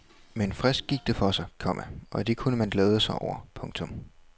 Men frisk gik det for sig, komma og det kunne man glæde sig over. punktum